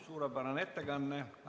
Suurepärane ettekanne!